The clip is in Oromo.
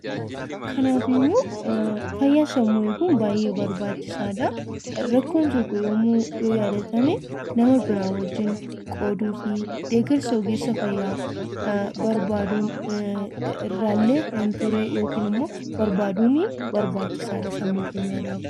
Fayyaa sammuu eeguun baay'ee barbaachisaadha. Rakkoon tokko yoo uummame deeggarsa gochuu fi ogeessa fayyaatiin gargaaramuun fayyaa sammuu keenyaa eeguun barbaachisaadha.